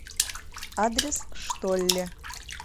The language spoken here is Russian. адрес штолле